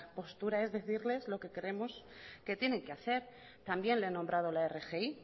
postura es decirles lo que creemos que tienen que hacer también le he nombrado la rgi